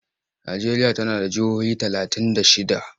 Najeriya tana da jihohi talatin da shidda.